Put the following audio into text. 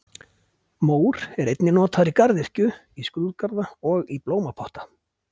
Mór er einnig notaður í garðyrkju, í skrúðgarða og í blómapotta.